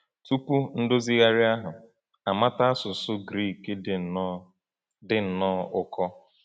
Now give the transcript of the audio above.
Tupu Ndozigharị ahụ, amata asụsụ Grik dị nnọọ dị nnọọ ụkọ.